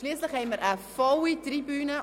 Schliesslich haben wir eine volle Tribüne.